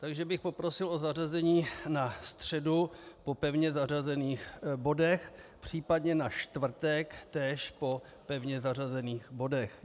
Takže bych poprosil o zařazení na středu po pevně zařazených bodech, případně na čtvrtek též po pevně zařazených bodech.